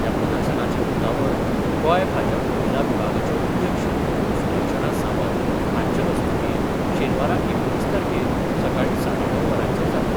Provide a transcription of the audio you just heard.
ह्या प्रदर्शनाचें उक्तावण गोंय भाजप महिला विभागाच्यो अध्यक्ष सुलक्षणा सावंत हांच्या हस्तुकीं शेनवारा एकुणीस तारखेक सकाळी साडे णव वरांचेर जातलें.